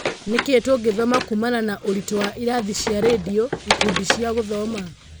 Nĩkĩĩ tũngĩthoma kuumana na ũritũ wa irathi cia rendio, ikundi cia gũthoma?